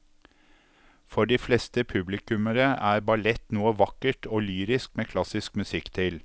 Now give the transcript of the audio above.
For de fleste publikummere er ballett noe vakkert og lyrisk med klassisk musikk til.